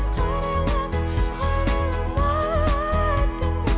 қарайлама қарайлама артыңа